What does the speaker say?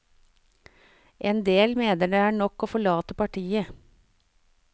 En del mener det er nok til å forlate partiet.